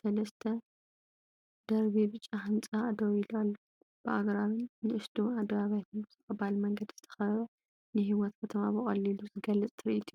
ሰለስተ ደርቢ ብጫ ህንጻ ደው ኢሉ ኣሎ፡ ብኣግራብን ንኣሽቱ ኣደባባያትን ብተቐባሊ መንገዲ ዝተኸበበ። ንህይወት ከተማ ብቐሊሉ ዝገልጽ ትርኢት'ዩ።